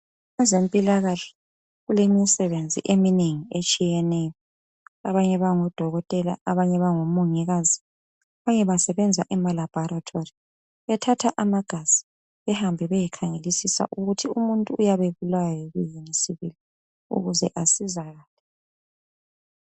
Abezempilakahle balemisebenzi eminengi etshiyeneyo. Abanye bangodokotela ,abanye bango mongikazi, abanye basebenza emalabhorethi bethatha amagazi behambe beyekhangelisisa ukuthi umuntu uyabe ebulawa yini sibili ukuze asizakale.